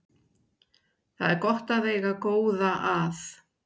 Það er gott að eiga góða að.